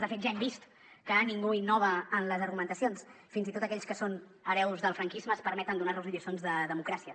de fet ja hem vist que ningú innova en les argumentacions fins i tot aquells que són hereus del franquisme es permeten donar nos lliçons de democràcia